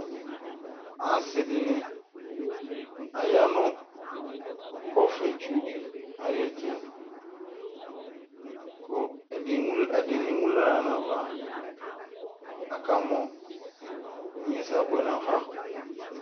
ɑsidini ɑyɑnukɔfɛtsudi ɑyɛtu ɛdini munɑhla nɑvɑ kɑmɔ inyɛsɛɑbiɛ nɑfɑ